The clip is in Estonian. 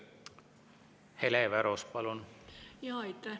Hele Everaus, palun!